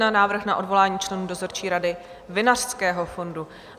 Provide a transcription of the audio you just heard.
Návrh na odvolání členů dozorčí rady Vinařského fondu